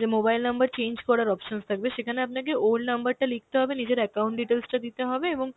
যে mobile number change করার options থাকবে সেখানে আপনাকে old number টা লিখতে হবে নিজের account details টা দিতে হবে এবং